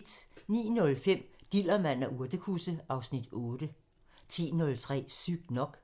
09:05: Dillermand og urtekusse (Afs. 8) 10:03: Sygt nok